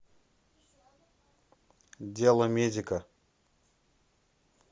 деломедика